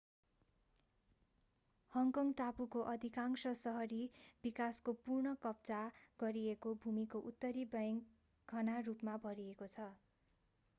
Hong Kong टापुको अधिकांश सहरी विकासको पुनः कब्जा गरिएको भूमिको उत्तरी बैंक घना रुपमा भरिएको छ